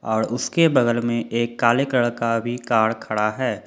और उसके बगल में एक काले कलर का भी कार खड़ा है।